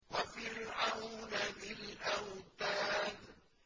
وَفِرْعَوْنَ ذِي الْأَوْتَادِ